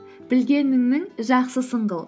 білгеніңнің жақсысын қыл